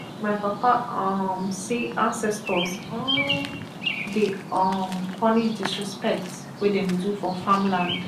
my papa um say ancestors um dey um punish disrespect wey dem do for farmland